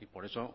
y por eso